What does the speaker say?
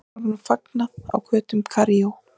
Herforingjum fagnað á götum Kaíró.